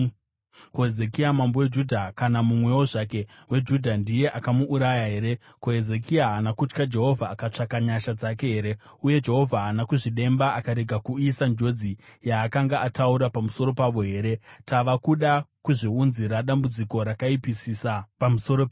Ko, Hezekia mambo weJudha kana mumwewo zvake weJudha ndiye akamuuraya here? Ko, Hezekia haana kutya Jehovha akatsvaka nyasha dzake here? Uye Jehovha haana kuzvidemba, akarega kuuyisa njodzi yaakanga ataura pamusoro pavo here? Tava kuda kuzviunzira dambudziko rakaipisisa pamusoro pedu!”